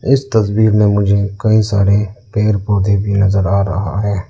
इस तस्वीर में मुझे कई सारे पेड़ पौधे भी नजर आ रहा है।